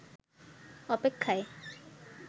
অপেক্ষায়